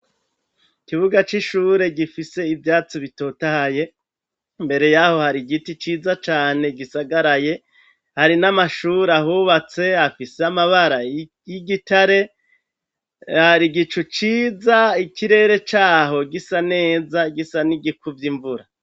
Ikibuga c'ishure gifise ivyatsi bitotahaye, mbere yaho hari igiti ciza cane gisagaraye, hari n'amashuri ahubatse afise amabara y'igitare, hari igicu ciza ikirere caho gisa neza gisa n'igikuvye imvura.